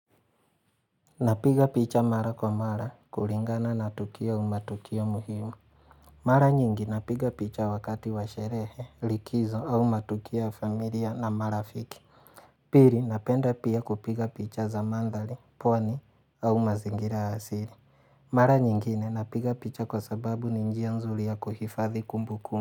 Napiga picha mara kwa mara, kuringana na tukio u matukio muhimu Mara nyingi napiga picha wakati wa sherehe, likizo au matukia familia na marafiki Piri napenda pia kupiga picha za mandhali, pwani au mazingira ya siri Mara nyingine napiga picha kwa sababu ni njia nzuri ya kuhifadhi kumbu kum.